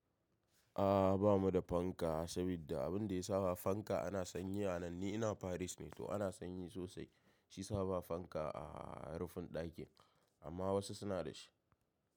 A'a ba mu da fanka saboda abun da ya sa ba fanka ana sanyi a nan ni ina Paris ne to ana sanyi sosai shiyasa ba fanka a rufin dakin amma wasu suna da shi.